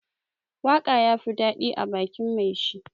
Waka ya fi dadi ã bakin mai shi.